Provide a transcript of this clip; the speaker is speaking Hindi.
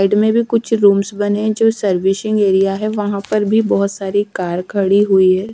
में कुछ रूम्स बने है जो सर्विसिंग एरिया है वहा पर भी बोहोत सारी कार खड़ी हुई है ।